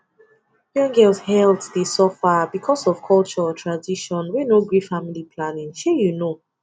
young girls health dey suffer because of culture or tradition wey no gree family planning shey you know